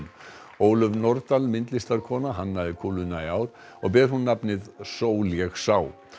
Ólöf Nordal myndlistarkona hannaði kúluna í ár og ber hún nafnið Sól ég sá